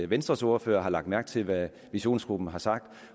venstres ordfører har lagt mærke til hvad visionsgruppen har sagt